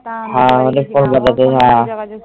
হ্যাঁ। কলকাতাতে হ্যাঁ